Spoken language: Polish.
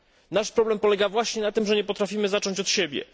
Nasz problem polega właśnie na tym, że nie potrafimy zacząć od siebie.